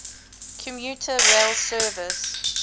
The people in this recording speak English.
commuter rail service